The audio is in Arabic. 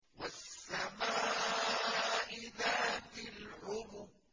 وَالسَّمَاءِ ذَاتِ الْحُبُكِ